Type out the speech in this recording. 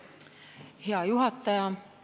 Hea juhataja!